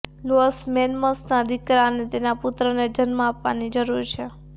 loss મેન્સોસના દીકરા અને તેના પુત્રને જન્મ આપવાની જરૂર છે